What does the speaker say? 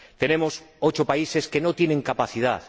Tenemos ocho países que no tienen capacidad.